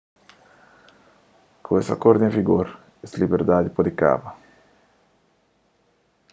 ku es akordu en vigor es liberdadi pode kaba